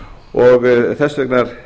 og þess vegna er